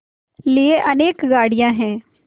लिए अनेक गाड़ियाँ हैं